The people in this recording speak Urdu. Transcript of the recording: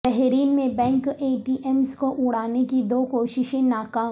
بحرین میں بینک اے ٹی ایمز کو اڑانے کی دو کوششیں ناکام